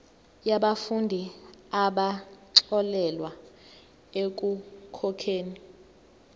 yabafundi abaxolelwa ekukhokheni